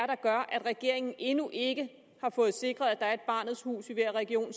der gør at regeringen endnu ikke har sikret at der er et barnets hus i hver region